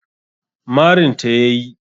Marin ta ya yi